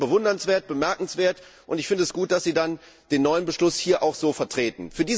Das ist schon bewundernswert und bemerkenswert, und ich finde es gut, dass Sie dann den neuen Beschluss hier auch so vertreten.